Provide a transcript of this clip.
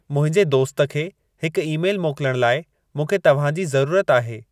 मुंहिंजे दोस्त खे हिकु ई-मेलु मोकिलण लाइ मूंखे तव्हां जी ज़रूरत आहे